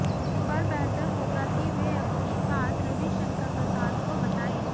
पर बेहतर होगा कि वे अपनी बात रवि शंकर प्रसाद को बताएं